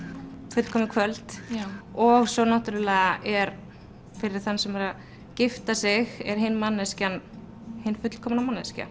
fullkomið kvöld og svo náttúrulega er fyrir þann sem er að gifta sig er hin manneskjan hin fullkomna manneskja